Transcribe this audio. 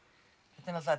það